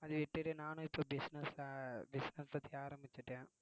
அதுவிட்டுட்டு நானும் இப்போ business ஆ business பத்தி ஆரம்பிச்சுட்டேன்